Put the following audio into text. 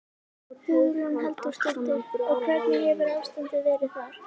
Hugrún Halldórsdóttir: Og hvernig hefur ástandið verið þar?